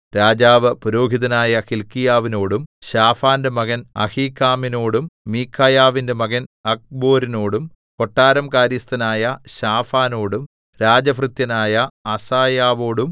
രാജാവ് പുരോഹിതനായ ഹില്ക്കീയാവിനോടും ശാഫാന്റെ മകൻ അഹീക്കാമിനോടും മീഖായാവിന്റെ മകൻ അക്ബോരിനോടും കൊട്ടാരം കാര്യസ്ഥനായ ശാഫാനോടും രാജഭൃത്യനായ അസായാവോടും